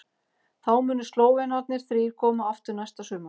Þá munu Slóvenarnir þrír koma aftur næsta sumar.